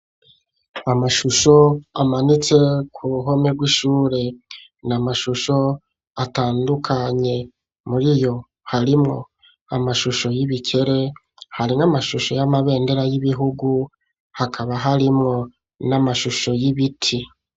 Amashusho amanitse ku ruhome rw'ishure n' amashusho atandukanye muri yo harimwo amashusho y'ibikere harim'amashusho y'amabendera y'ibihugu hakaba harimwo n'amashusho y'ibiti.